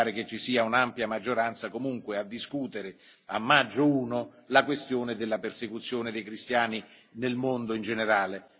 Mi pare che ci sia comunque un'ampia maggioranza a favore di discutere a maggio I la questione della persecuzione dei cristiani nel mondo in generale.